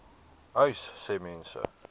uys sê mense